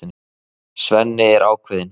Svenni er ákveðinn.